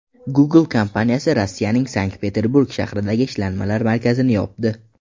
Google kompaniyasi Rossiyaning Sankt-Peterburg shahridagi ishlanmalar markazini yopdi.